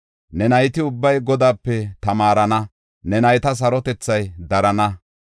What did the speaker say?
Ne nayti ubbay Godaape tamaarana; ne nayta sarotethay darana.